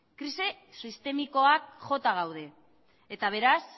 krisi sistemikoak jota gaude eta beraz